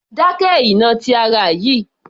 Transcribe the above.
Dákẹ́ ìnà ti ara yìí